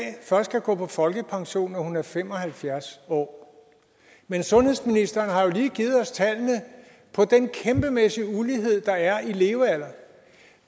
først kan gå på folkepension når hun er fem og halvfjerds år men sundhedsministeren har jo lige givet os tallene på den kæmpemæssige ulighed i levealder